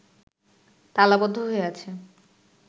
তালাবদ্ধ হয়ে আছে